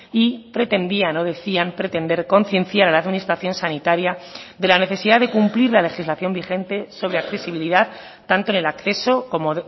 y pretendían o decían pretender concienciar a la administración sanitaria de la necesidad de cumplir la legislación vigente sobre accesibilidad tanto en el acceso como